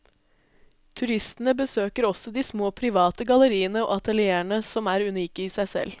Turistene besøker også de små private galleriene og atelierene som er unike i seg selv.